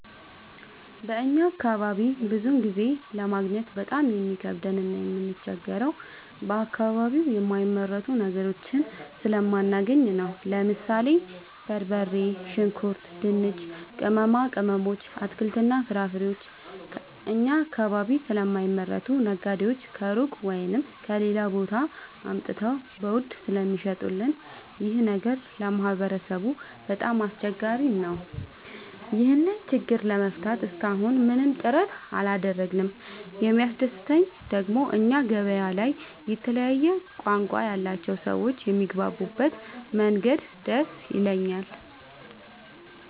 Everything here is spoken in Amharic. በእኛ አካባቢ ብዙ ጊዜ ለማግኘት በጣም የሚከብደን እና የምንቸገረው በአከባቢው የማይመረቱ ነገሮችን ስለማናገኝ ነው። ለምሳሌ፦ በርበሬ፣ ሽንኩርት፣ ድንች፣ ቅመማ ቅመሞች፣ አትክልትና ፍራፍሬዎችን እኛ አካባቢ ስለማይመረቱ ነጋዴዎች ከሩቅ(ከሌላ ቦታ) አምጥተው በውድ ስለሚሸጡልን ይኸ ነገር ለማህበረሰቡ በጣም አስቸጋሪ ነው። ይህን ችግር ለመፍታት እሰከ አሁን ምንም ጥረት አላደረግንም። የሚያስደሰተኝ ደግሞ እኛ ገበያ ላይ የተለያየ ቋንቋ ያላቸው ሰዎች የሚግባቡበት መንገድ ደስ ይላል።